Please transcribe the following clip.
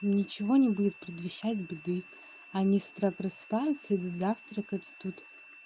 ничего не будет предвещать беды они с утра просыпаются идут завтракать и тут